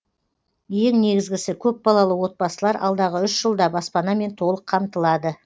ең негізгісі көпбалалы отбасылар алдағы үш жылда баспанамен толық қамтылады